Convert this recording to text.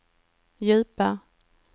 djupa